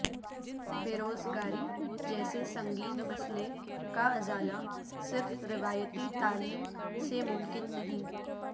بیروزگاری جیسے سنگین مسئلہ کا ازالہ صرف روایتی تعلیم سے ممکن نہیں